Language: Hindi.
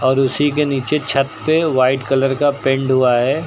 और उसी के नीचे छत पे वाइट कलर का पेंट हुआ है।